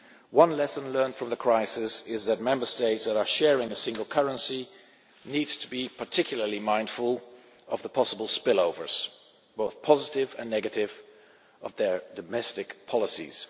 One lesson learned from the crisis is that Member States that are sharing a single currency need to be particularly mindful of the possible spillovers, both positive and negative, of their domestic policies.